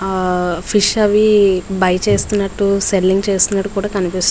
ఆ ఫిష్ లవి బై చేస్తునట్టు సెల్లింగ్ చేస్తునట్టు కూడా కనిపిస్తుంది.